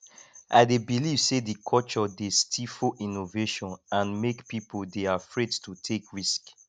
i dey believe say di culture dey stifle innovation and make people dey afraid to take risk